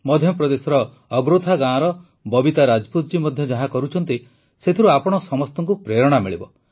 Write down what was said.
ମଧ୍ୟପ୍ରଦେଶର ଅଗରୋଥା ଗାଁର ବବିତା ରାଜପୁତ ଜୀ ମଧ୍ୟ ଯାହା କରୁଛନ୍ତି ସେଥିରୁ ଆପଣ ସମସ୍ତଙ୍କୁ ପ୍ରେରଣା ମିଳିବ